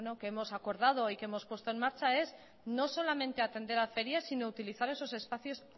que hemos acordado y que hemos puesto en marcha es no solamente atender a ferias sino utilizar esos espacios